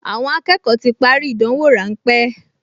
Àwọn akẹ́kọ̀ọ ti parí ìdánwò ráńpẹ́